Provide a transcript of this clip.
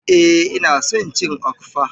Eh ina son cin Okpa.